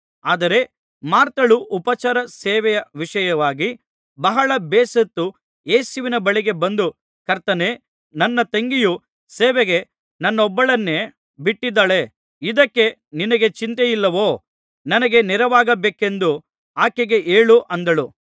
ಆದರೆ ಮಾರ್ಥಳು ಉಪಚಾರ ಸೇವೆಯ ವಿಷಯವಾಗಿ ಬಹಳ ಬೇಸತ್ತು ಯೇಸುವಿನ ಬಳಿಗೆ ಬಂದು ಕರ್ತನೇ ನನ್ನ ತಂಗಿಯು ಸೇವೆಗೆ ನನ್ನೊಬ್ಬಳನ್ನೇ ಬಿಟ್ಟಿದ್ದಾಳೆ ಇದಕ್ಕೆ ನಿನಗೆ ಚಿಂತೆಯಿಲ್ಲವೋ ನನಗೆ ನೆರವಾಗಬೇಕೆಂದು ಆಕೆಗೆ ಹೇಳು ಅಂದಳು